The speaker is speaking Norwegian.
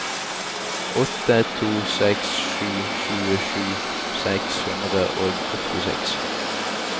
åtte to seks sju tjuesju seks hundre og åttiseks